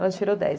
tirou dez.